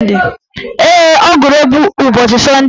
Ee, ọ gụrụ egwu ụbọchị sọnde